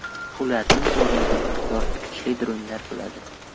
Ularning o‘rnida yoritgichli dronlar bo‘ladi .